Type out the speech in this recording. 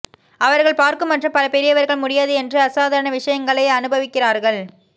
அவர்கள் பார்க்கும் மற்றும் பல பெரியவர்கள் முடியாது என்று அசாதாரண விஷயங்களை அனுபவிக்கிறார்கள்